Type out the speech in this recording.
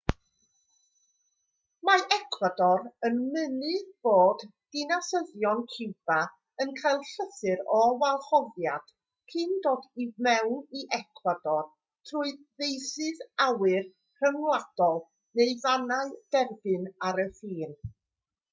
mae ecwador yn mynnu bod dinasyddion ciwba yn cael llythyr o wahoddiad cyn dod i mewn i ecwador trwy feysydd awyr rhyngwladol neu fannau derbyn ar y ffin